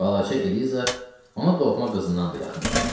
Balaca Eliza ona doğma qızından da yaxın idi.